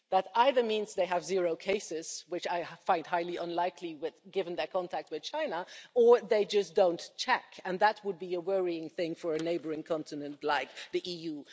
That either means they have zero cases, which I find highly unlikely given their contact with China, or they just don't check and that would be a worrying thing for a neighbouring continent like the EU.